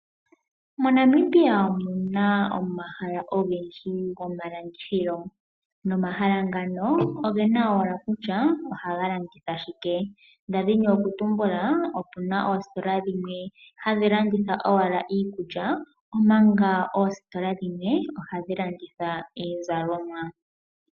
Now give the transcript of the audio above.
Mo Namibia omuna omahala ogendji goma landithilo, no mahala ngano ogena owala kutya ohaga landitha shike , ndadhini okutumbula opuna oostola shimwe hashi landitha owala iikulya omanga oostola dhimwe ohadhi landitha iizalomwa.